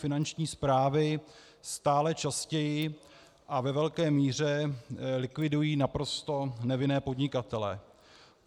Finanční správy stále častěji a ve velké míře likvidují naprosto nevinné podnikatele.